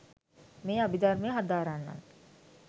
මේ අභිධර්මය හදාරන්නන්